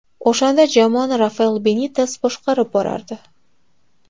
O‘shanda jamoani Rafael Benites boshqarib borardi.